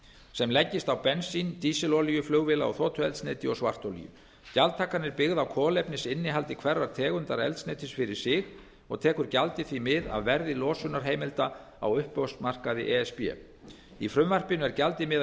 sem leggist á bensín dísilolíu flugvéla og þotueldsneyti og svartolíu gjaldtakan er byggð á kolefnisinnihaldi hverrar tegundar eldsneytis fyrir sig og tekur gjaldið því mið af verði losunarheimilda á uppboðsmarkaði e s b í frumvarpinu er gjaldið miðað